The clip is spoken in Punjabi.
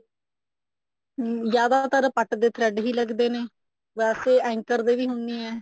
ਅਮ ਜਿਆਦਾਤਰ ਪੱਟ ਏ thread ਹੀ ਲੱਗਦੇ ਨੇ ਵੈਸੇ anchor ਦੇ ਵੀ ਹੁੰਦੇ ਆ